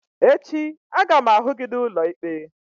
Echi a ga m ahụ gị n'ụlọ ikpe!